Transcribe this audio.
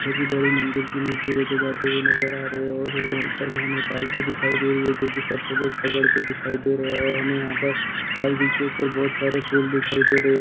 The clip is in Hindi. मुझे बडी मंदिर की मूर्ति लेके जाते हुए नजर आ रहे हैं और वो उपर में हमें पालकी दिखाई दे रही है जोकी सब लोग पकड़ के दिखाई दे रहे हैं और हमें यहां पर पालकि के उपर बहुत सारे फूल दिखाई दे रहे हैं।